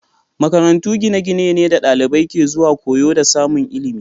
Makarantu gine-gine ne da dalibai ke zuwa koyo da samun ilimi